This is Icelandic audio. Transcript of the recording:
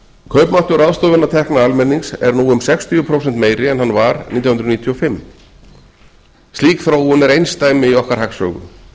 kaupmáttur ráðstöfunartekna almennings er nú um sextíu prósent meiri en hann var nítján hundruð níutíu og fimm slík þróun er einsdæmi í okkar hagsögu